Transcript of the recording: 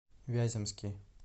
вяземский